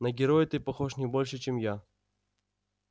на героя ты похож не больше чем я